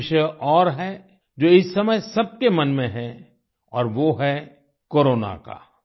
एक विषय और है जो इस समय सबके मन में है और वो है कोरोना का